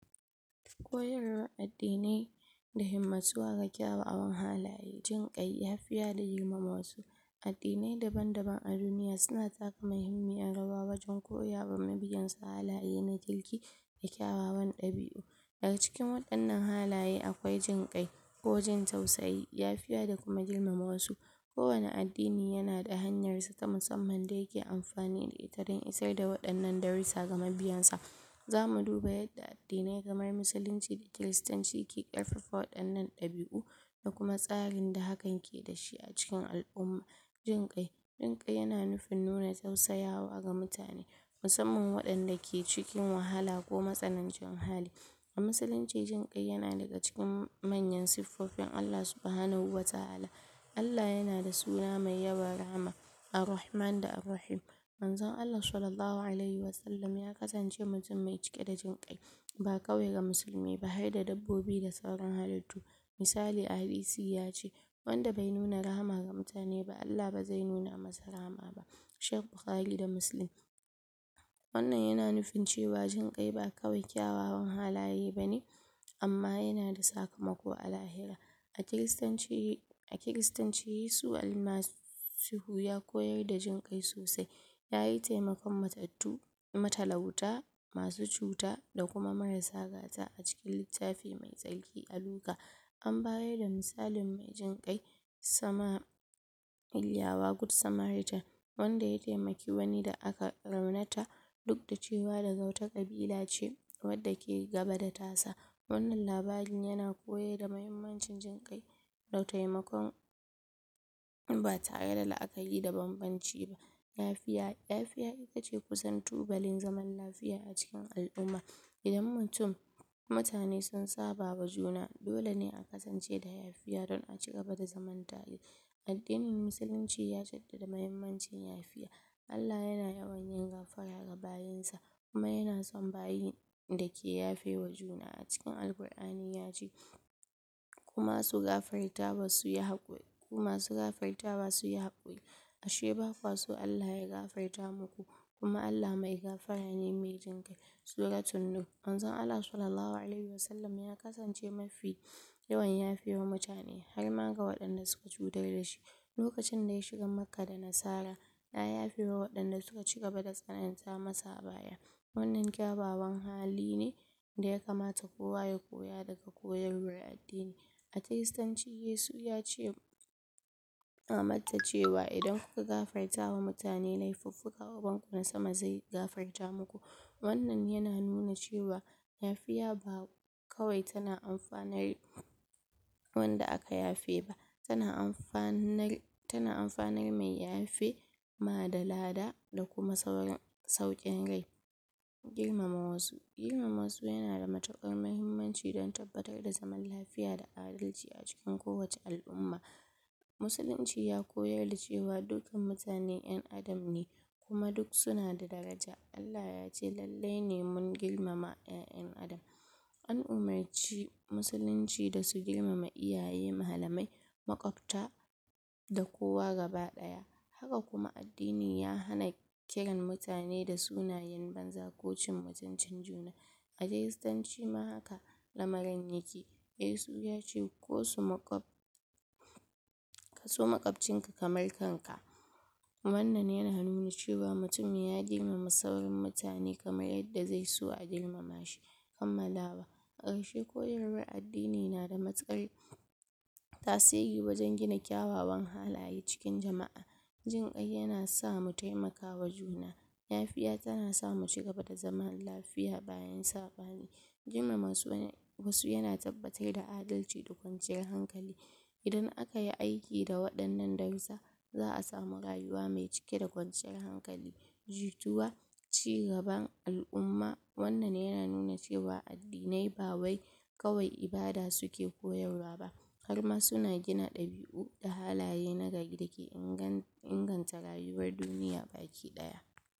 koyarwan addi ne da himmatuwa ga kyawawan halaye jikai lyafiya da girmama wasu addi ne daban-daban a duniya suna taka mahimmiyan rawa wajan koyawa mabiyan su halaye na kirki da kyawawn dabi'u, daga cikin wannan halaye akwai jin kai ko jin tausayi yafiya da kuma girmama wasu kowace addini yana da hanyar sa musamman da yake amfani da ita dan isar da darisa ga mabiyan sa za mu duba addine kamar musulunci da kiristanci ke karfafa wannan dabi'u da kuma tsarin da hakan yake da shi a cikin al'umma jin kai, jin kai na nufin nuna tausayawa ga mutane musamman wadan da ke cikin wahala ko matsanancin hali a musulunci jin kai na daga cikin manyan suffofin Allah subuhanahu wata'ala Allah yana da suna mai yawan rahama Arrahaman da Arrahim manzon Allah sallahu alehim wasallam, ya kasance mai cike da jin kai ba kawai ga musulmai ba, har da dabbobi da sauran halittu misali a hadisi ya ce 'wanda bai nuna rahama ga mutane ba Allah ba zai nuna masa rahama ba' shek buhari da musulum wannan yana nufin cewa jin kai ba yana nufin kyawawan halaye bane amma yana da sakamako a lahira a kirastanci a kiristanci yesu almasihu ya koyar da jinkai sosai ya yi temakon matattu matalauta masu cuta marasa gata a cikin littafi mai tsarki a luka an bada misalin mai jin kai sama kulawa gud samarita wanda ya temaki wani da aka raunata duk da cewa daga wata kabila bila ce da take gaba da tasa wannan labarin yana koyar da mahimmancin jin kai da temakon ba tare da la'akari da babbanci ba lafiya, lafiya kusan itace tubali zaman lafiya a cikin al'umma idan mutum, mutane sun sabawa juna dole ne a kasance da yfiya don a cigaba da zaman tare addinin musuluncci ya jaddada muhimmancin yafiya Allah yana yawan gafara ga bayin sa kuma yana son bayin da ke yafewa juna a cik a cikin alqur'ani ya ce 'ku masu gafartawa suyi hakuri, ku masu gaartawa suyi hakuri, ashe ba kwaso llah ya gafarta muku' 'kuma Allah mai gafara ne mai jin kai' suratun nur, mazan Allah sallallahu alehim wasallam ya kasance mafi yawan yafewa mutane harma ga wadanda suka cutar da shi lokacin da ya shiga maka da nasara ya yafewa ya yarewa wadanda suka cigaba da tsanan ta masa wannan gyarawan hali ne da yakamata kowa ya koya daga koyawar addini a kirastanci yesu ya ce kuna manta cewa 'idan kuka gafartawa mutane lefuffuka ogonku na sama zai gafarta muku wannan yana nuna cewa yafiya ba kawai tana amfanar wanda aka yafe ba tana amfanar ma tana amfanar ma mai yafe da lada da kuma sauran, saukin re irmama wasu girmama wasu yana da matukar mahimmanci dan tabbatar da zaman lafiya da adalci a cikin kowace al'umma musulunci ya koyar da cewa dukkan mutane dan'adam ne kuma duk suna da daraja 'Allah ya ce lallene mun girmama 'yayan dan adam' an umurci musulunci su girmama iyaye, malamai, makwafta da kowa gaba daya haka huma addini ya hana kiran mutane da sunan banza ko cin mutuncin juna a kiristanci ma haka lamarin yake yesu yace 'ko su makwab kaso makwabcinka kamar kanka' wannan yana nuna cewa mutum ya girmama sauran mutane kamar yadda yake so a girmama shi kammalawa karshe koyarwan addini na da matukar tasiri wajan gina kyawawn halaye cikin jama'a jin kai yana sama mutemakawa juna yafiya tana sama mu cigaba da zama lafiya bayan sabani girmama wasu yana tabbatar da adalci da kwanciyar hankali idan akayi ayki da wadannan darisa za a samu rayuwa mai cike da kwanciyar hankali jituwa cigaban al'umma wannan wannan yana nuna cewa addine ba wai kawai ibada suke koyarwa ba harma suna gina dabi'u da halaye na gari da ke inganta rayuwar duniya baki daya